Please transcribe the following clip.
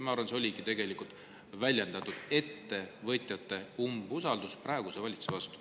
Ma arvan, et see väljendas ettevõtjate umbusaldust praeguse valitsuse vastu.